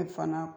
fana